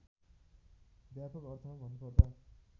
व्यापक अर्थमा भन्नुपर्दा